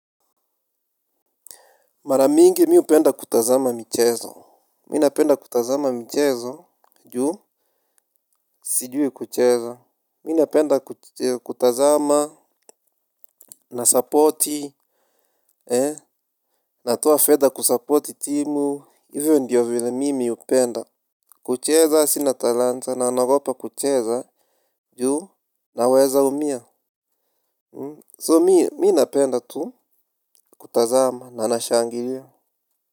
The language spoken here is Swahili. Mara mingi mi upenda kutazama michezo. Mi napenda kutazama michezo juu. Sijui kucheza. Mi napenda kutazama na supporti. Natoa fedha kusupporti timu. Ivo ndio vile mimi upenda. Kucheza sina talanta na naogopa kucheza juu naweza umia So mi napenda tu kutazama na nashangilia.